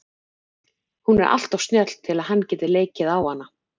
Hún er alltof snjöll til að hann geti leikið á hana.